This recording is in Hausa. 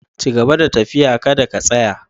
Cigaba da tafiya, ka da ka tsaya!